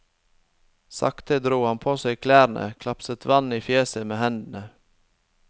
Sakte dro han på seg klærne, klapset vann i fjeset med hendene.